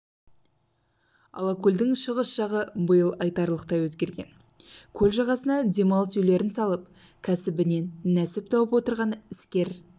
алакөлдің шығыс жағы биыл айтарлықтай өзгерген көл жағасына демалыс үйлерін салып кәсібінен нәсіп тауып отырған іскер